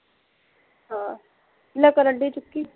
ਹਾਂ, ਲੈ ਕਰਨ ਡਈ ਚੁੱਕੀ